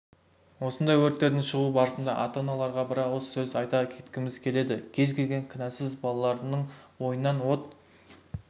осындай өрттерге шығау барысында ата-аналарған бір ауыз сөз айта кеткіміз келеді кез-келген кінәсіз балалардың ойыннан от